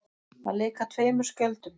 Að leika tveimur skjöldum